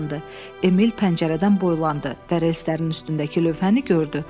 Emil pəncərədən boylandı və reyslərin üstündəki lövhəni gördü.